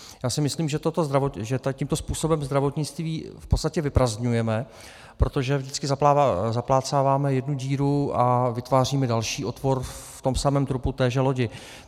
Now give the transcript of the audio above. Já si myslím, že tímto způsobem zdravotnictví v podstatě vyprazdňujeme, protože vždycky zaplácáváme jednu díru a vytváříme další otvor v tom samém trupu téže lodi.